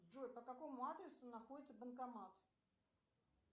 джой по какому адресу находится банкомат